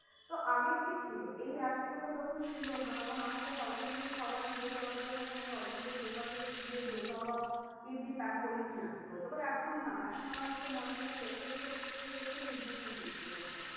তো আগে কি ছিল এই app গুলো যখন ছিল না তখন আমাকে south indian খাবার নিতে যাওয়ার জন্য কোনো south indian দোকান থেকে গিয়ে ডোসা বা ইডলি pack করিয়ে নিয়ে আসতে হতো। but এখন না এখন আমার আজকে morning এ breakfast করতে ইচ্ছে করছে। ইডলি খেতে ইচ্ছে করছে।